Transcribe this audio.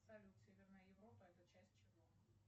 салют северная европа это часть чего